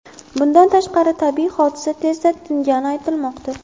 Bundan tashqari, tabiiy hodisa tezda tingani aytilmoqda.